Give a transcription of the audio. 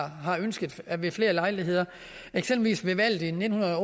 har ønsket ved flere lejligheder ved valget i nitten